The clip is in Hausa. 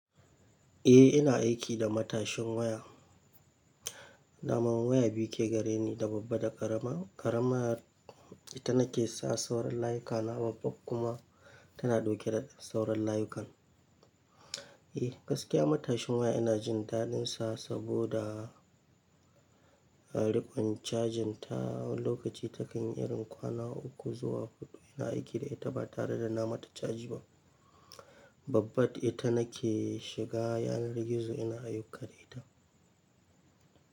Eh ina aiki da matashin waya. Daman waya biyu ke gareni, da babba da ƙarama. Ƙarama ita nake sa sauran layukana, babba kuma tana dauke da sauran layukan. Eh gaskiya matashin waya ina jin daɗinsa saboda riƙon cajin ta. Wani lokaci ta kan irin kwana uku zuwa huɗu ina aiki da ita ba tare da na mata caji ba. Babba ita nake shiga yanar gizo ina ayuka da ita.